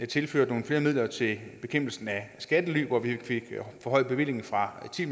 tilført nogle flere midler til bekæmpelsen af skattely vi fik forhøjet bevillingen fra ti